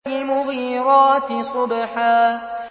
فَالْمُغِيرَاتِ صُبْحًا